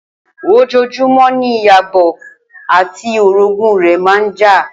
Ojoojúmó̩ ni Ìyábò̩ àti orogún rè̩ máa ń jà